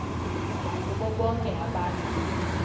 nakubo bonke abantu